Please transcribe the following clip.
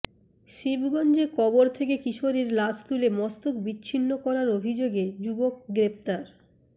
শিবগঞ্জে কবর থেকে কিশোরীর লাশ তুলে মস্তক বিচ্ছিন্ন করার অভিযোগে যুবক গ্রেপ্তার